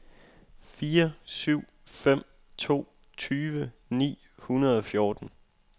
fire syv fem to tyve ni hundrede og fjorten